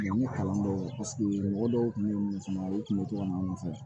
N ko kalan dɔw la mɔgɔ dɔw tun bɛ min fɔ u tun bɛ to ka n fɛ